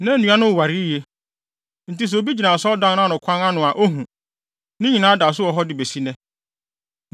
Na nnua no woware yiye; enti sɛ obi gyina Asɔredan no ano kwan ano a ohu. Ne nyinaa da so wɔ hɔ besi nnɛ.